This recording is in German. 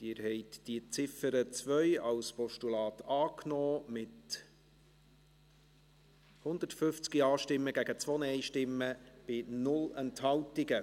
Sie haben die Ziffer 2 als Postulat angenommen, mit 150 Ja- gegen 2 Nein-Stimmen bei 0 Enthaltungen.